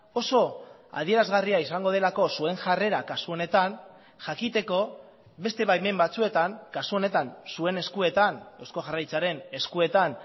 oso adierazgarria izango delako zuen jarrera kasu honetan jakiteko beste baimen batzuetan kasu honetan zuen eskuetan eusko jaurlaritzaren eskuetan